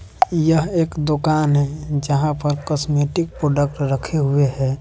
यह एक दुकान है जहां पर कॉस्मेटिक प्रोडक्ट रखे हुए है।